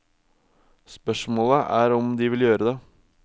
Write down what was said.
Spørsmålet er om de vil gjøre det.